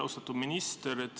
Austatud minister!